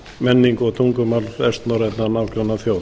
menningu og tungumál vestnorrænna nágrannaþjóða